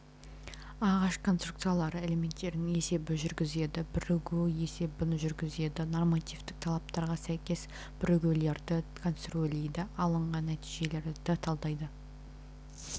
ағаш конструкциялары элементтерінің есебін жүргізеді бірігуі есебін жүргізеді нормативтік талаптарға сәйкес бірігулерді конструирлейді алынған нәтижелерді талдайды